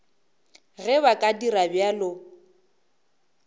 ge ba ka dira bjalo